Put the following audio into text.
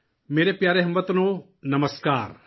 میرے پیارے ہم وطنوں ، نمسکار